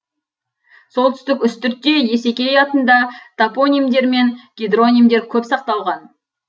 солтүстік үстіртте есекей атында топонимдер мен гидронимдер көп сақталған